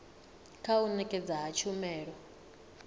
kha u nekedzwa ha tshumelo